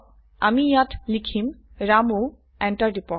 আমি ইয়াত লিখিম ৰামু এন্টাৰ টিপক